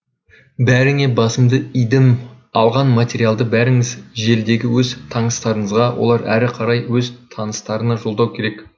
бәріңе басымды идім алған материалды бәріңіз желідегі өз таныстарыңызға олар әрі қарай өз таныстарына жолдау керек